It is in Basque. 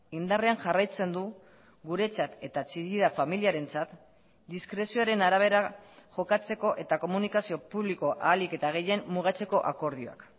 indarrean jarraitzen du guretzat eta chillida familiarentzat diskrezioaren arabera jokatzeko eta komunikazio publiko ahalik eta gehien mugatzeko akordioak